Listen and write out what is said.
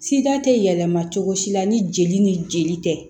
Sida tɛ yɛlɛma cogo si la ni jeli ni jeli tɛ